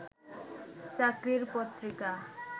চাকরির পত্রিকা